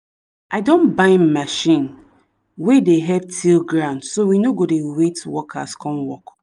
i don buy machine wen dey help till land so we no go dey wait workers come work